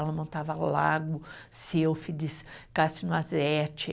Ela montava Lago, Silfides,